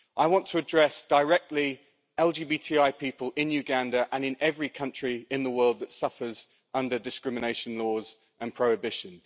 I want to address directly LGBTI people in Uganda and in every country in the world that suffers under discrimination laws and prohibition.